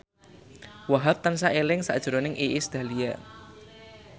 Wahhab tansah eling sakjroning Iis Dahlia